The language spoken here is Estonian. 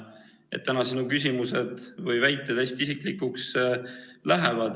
Sinu tänased küsimused või väited lähevad hästi isiklikuks.